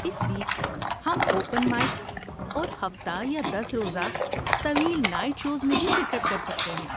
اس بیچ، ہم open mics اور ہفتہ یا دس روزہ طویل نائٹ شوز میں بھی شرکت کر سکتے ہیں